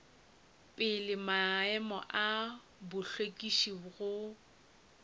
pele maemo a hlwekišo go